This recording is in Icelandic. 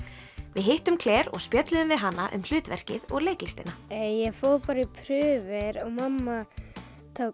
við hittum Claire og spjölluðum við hana um hlutverkið og leiklistina ég fór bara í prufur og mamma tók